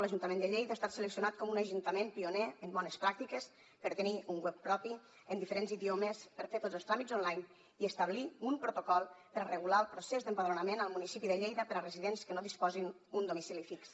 l’ajuntament de lleida ha estat seleccionat com un ajuntament pioner en bones pràctiques per tenir un web propi en diferents idiomes per fer tots els tràmits online i establir un protocol per regular el procés d’empadronament al municipi de lleida per a residents que no disposin d’un domicili fix